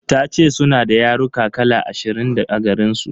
Tace suna da yaruka kala ashirin a garinsu.